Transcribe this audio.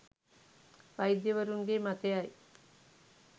වෛද්‍යවරුන්ගේ මතයයි.